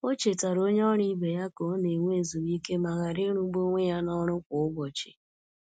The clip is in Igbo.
O chetara onye ọrụ ibe ya ka ọ na- enwe ezumike ma ghara ịrụ gbu onwe ya na ọrụ kwa ụbọchị.